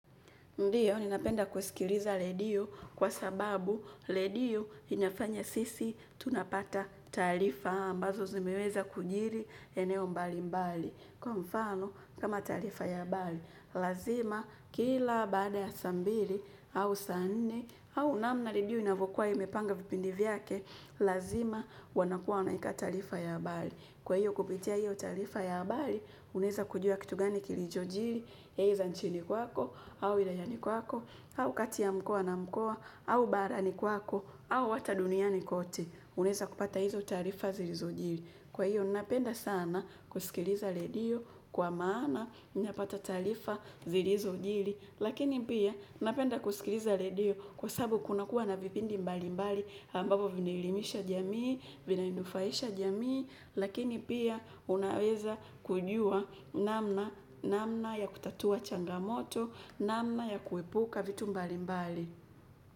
Ndiyo, ninapenda kusikiliza redio kwa sababu redio inafanya sisi tunapata taarifa ambazo zimeweza kujiri eneo mbalimbali. Kwa mfano, kama taarifa ya habari, lazima kila baada ya saa mbili au sa nne au namna redio inavyokuwa imepanga vipindi vyake, lazima wanakuwa wanaweka taarifa ya habari. Kwa hiyo kupitia hiyo taarifa ya habari, unaweza kujua kitu gani kilichojiri, either nchini kwako, au ilayani kwako, au kati ya mkoa na mkoa, au barani kwako, au hata duniani kote, unaweza kupata hizo taarifa zilizojiri. Kwa hiyo, napenda sana kusikiliza redio kwa maana, ninapata taarifa zilizojiri. Lakini pia, ninapenda kusikiliza redio kwa sababu kunakuwa na vipindi mbalimbali ambavyo vinaelimisha jamii, vinanufaisha jamii. Lakini pia, unaweza kujua namna, namna ya kutatua changamoto, namna ya kuepuka vitu mbalimbali.